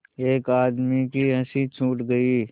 एक आदमी की हँसी छूट गई